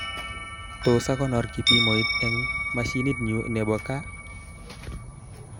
Tos, akonor kipimoit eng mashinitnyu nebo kaha